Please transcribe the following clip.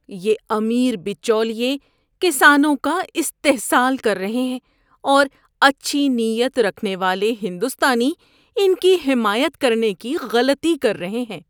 یہ امیر بچولیے کسانوں کا استحصال کر رہے ہیں اور اچھی نیت رکھنے والے ہندوستانی ان کی حمایت کرنے کی غلطی کر رہے ہیں۔